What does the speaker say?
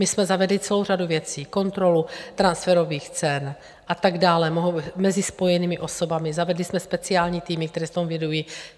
My jsme zavedli celou řadu věcí - kontrolu transferových cen a tak dále mezi spojenými osobami, zavedli jsme speciální týmy, které se tomu věnují.